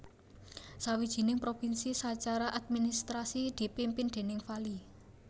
Sawijining provinsi sacara administrasi dipimpin déning vali